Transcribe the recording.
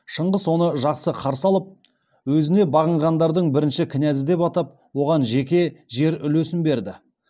шыңғыс оны жақсы қарсы алып өзін бағынғандардың бірінші князі деп атап оған жеке жер үлесін берді